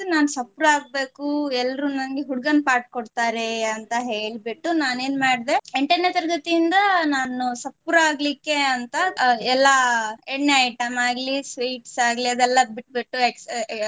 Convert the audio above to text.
ನಾನು ಸಪೂರ ಆಗ್ಬೇಕು ಎಲ್ರೂ ನಂಗೆ ಹುಡುಗನ್ part ಕೊಡ್ತಾರೆ ಅಂತ ಹೇಳ್ಬಿಟ್ಟು ನಾನು ಏನ್ ಮಾಡ್ದೆ ಎಂಟನೇ ತರಗತಿಯಿಂದ ನಾನು ಸಪೂರ ಆಗ್ಲಿಕ್ಕೆ ಅಂತ ಎಲ್ಲಾ ಎಣ್ಣೆ item ಆಗ್ಲಿ sweets ಆಗ್ಲಿ ಅದೆಲ್ಲ ಬಿಟ್ಬಿಟ್ಟು